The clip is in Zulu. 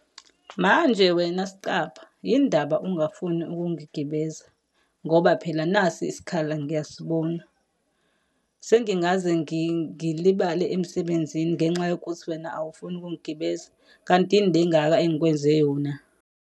Manje wena sicabha, yini ndaba ungafuni ukungigibeza? Ngoba phela nasi isikhala ngiyasibona. Sengingaze ngilibale emsebenzini ngenxa yokuthi wena awufuni ukungigibeza? Kanti yini le ngaka engikwenze yona?